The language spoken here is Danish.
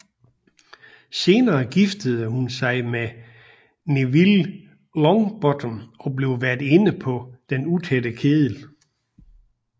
Senere gifter hun sig med Neville Longbottom og bliver værtinde på Den Utætte Kedel